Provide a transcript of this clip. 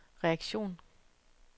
reaktion